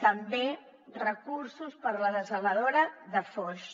també recursos per a la dessaladora de foix